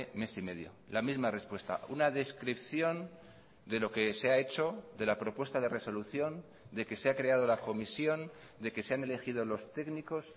mes y medio la misma respuesta una descripción de lo que se ha hecho de la propuesta de resolución de que se ha creado la comisión de que se han elegido los técnicos